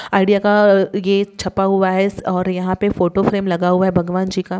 idea का यह छपा हूआ है और यहा पे फोटो फ्रेम लगा हूआ है भगवान जी का --